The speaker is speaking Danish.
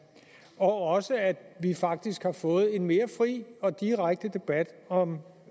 også at vi faktisk har fået en mere fri og direkte debat om